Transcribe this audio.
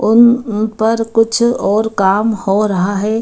उन उन पर कुछ और काम हो रहा है ।